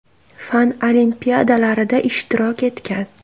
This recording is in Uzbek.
Fan olimpiadalarida ishtirok etgan.